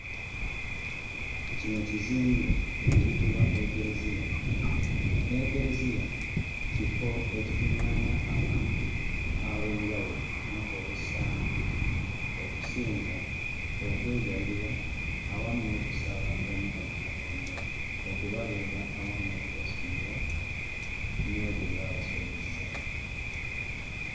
Kino ekizimbe ekiyitibwa Ekereziya. Ekereziya kifo ekikuŋŋaanya abantu ab'enjawulo ku lunaku olw'e Ssande okuzinza, okwegayirira awamu n'okusaba Omukama Katonda okubabeera awamu n'okubasonyiwa olw'ebyo bye baba basobezza.